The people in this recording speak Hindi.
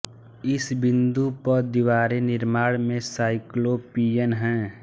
इस बिंदु पर दीवारें निर्माण में साइक्लोपियन हैं